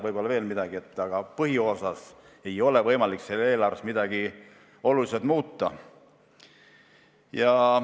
Võib-olla veel midagi oleks saanud ära jätta, aga põhiosas ei ole võimalik eelarves midagi oluliselt muuta.